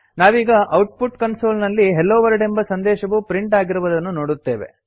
ನಾವೀಗ output console ನಲ್ಲಿ hello world ಎಂಬ ಸಂದೇಶವು ಪ್ರಿಂಟ್ ಆಗಿರುವುದನ್ನು ನೋಡುತ್ತೇವೆ